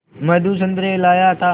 मधु संतरे लाया था